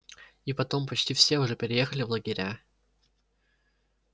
и потом почти все уже переехали в лагеря